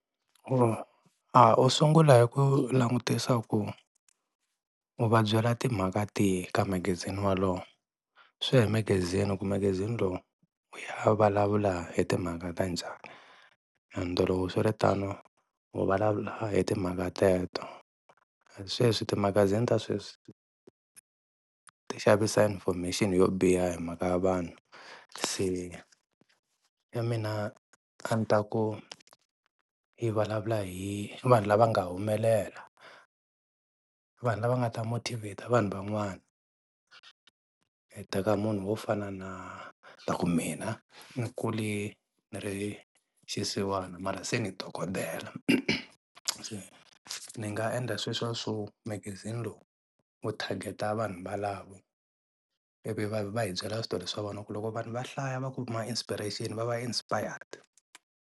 u sungula hi ku langutisa ku u va byela timhaka tihi ka magazini wolowo. Swi ya hi magazini ku magazini lowu va vulavula hi timhaka ta njhani ende loko swi ri tano u vulavula hi timhaka teto. Sweswi timagazini ta sweswi ti xavisa information yo biha hi mhaka ya vanhu se e mina a ni ta ku i vulavula hi vanhu lava nga humelela, vanhu lava nga ta motivate vanhu van'wana. Teka munhu wo fana na hi ta ku mina ni kule ni ri xisiwana mara se ni dokodela se ni nga endla sweswo swo magazini lowu wu target-a vanhu valava ivi va va hi byela switori swa vona ku loko vanhu va hlaya va kuma inspiration va va inspired.